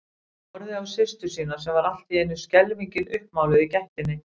Horfði á systur sína sem var allt í einu skelfingin uppmáluð í gættinni.